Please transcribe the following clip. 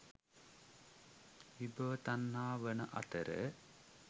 විභව තණ්හා වන අතර,